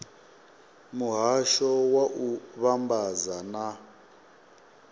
muhasho wa u vhambadza na